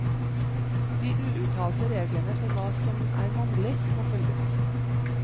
De uuttalte reglene for hva som er mannlig, må følges.